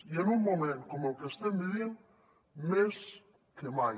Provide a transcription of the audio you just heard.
i en un moment com el que estem vivint més que mai